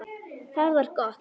Það var gott